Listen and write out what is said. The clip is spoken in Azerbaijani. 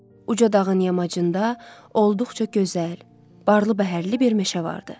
Uca dağın yamacında olduqca gözəl, barlı bəhərli bir meşə vardı.